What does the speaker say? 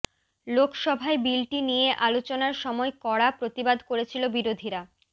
লোকসভায় বিলটি নিয়ে আলোচনার সময় কড়া প্রতিবাদ করেছিল বিরোধীরা